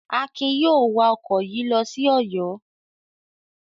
Akin yóò wa ọkọ̀ yìí lọ sí Ọ̀yọ́.